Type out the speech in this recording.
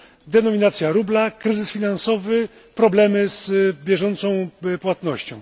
denominacja rubla, kryzys finansowy, problemy z bieżącą płatnością.